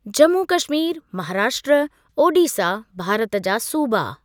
जम्मू कश्मीर, महाराष्ट्र, ओड़ीसा भारत जा सूबा।